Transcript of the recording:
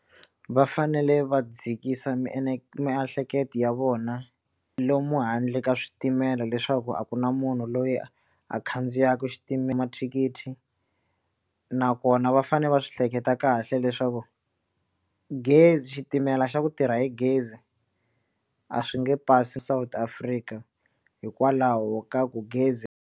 Va fanele va dzikisa miehleketo ya vona lomu handle ka switimela leswaku a ku na munhu loyi a khandziyaka xitimela mathikithi nakona va fanele va swi hleketa kahle leswaku gezi xitimela xa ku tirha hi gezi a swi nge pasi South Africa hikwalaho ka ku gezi.